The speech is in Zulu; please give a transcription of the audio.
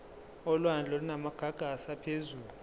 olwandle olunamagagasi aphezulu